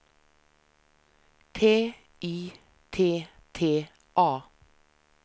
T I T T A